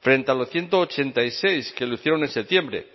frente a los ciento ochenta y seis que lo hicieron en septiembre